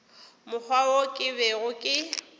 mokgwa wo ke bego ke